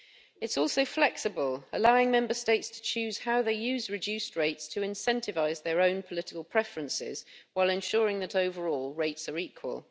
It is also flexible, allowing Member States to choose how they use reduced rates to incentivise their own political preferences, while ensuring that, overall, rates are equal.